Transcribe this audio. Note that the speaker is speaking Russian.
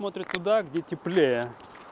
смотрит туда где теплее